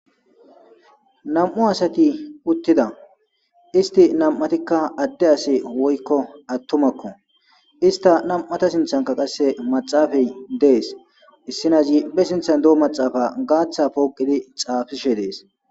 Na'mu sati utida isiti na'am'atika ade asiko atumako isita na'ata sinithanika maxapey des issinazi basithan de'o maxapa gatha poqidi xapishede'es